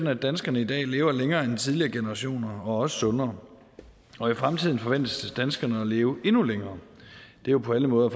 at danskerne i dag lever længere end tidligere generationer også sundere og i fremtiden forventes danskerne at leve endnu længere det er på alle måder